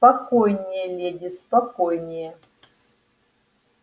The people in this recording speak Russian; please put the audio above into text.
спокойнее леди спокойнее